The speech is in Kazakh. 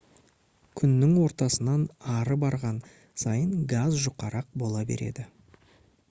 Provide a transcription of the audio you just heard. күннің ортасынан ары барған сайын газ жұқарақ бола береді